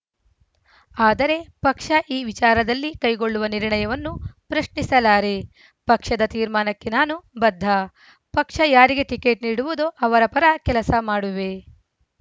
ಆದರೆ ಪಕ್ಷ ಈ ವಿಚಾರದಲ್ಲಿ ಕೈಗೊಳ್ಳುವ ನಿರ್ಣಯವನ್ನು ಪ್ರಶ್ನಿಸಲಾರೆ ಪಕ್ಷದ ತೀರ್ಮಾನಕ್ಕೆ ನಾನು ಬದ್ಧ ಪಕ್ಷ ಯಾರಿಗೆ ಟಿಕೆಟ್‌ ನೀಡುವುದೋ ಅವರ ಪರ ಕೆಲಸ ಮಾಡುವೆ